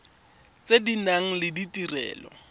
tse di nang le ditirelo